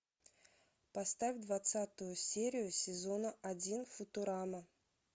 поставь двадцатую серию сезона один футурама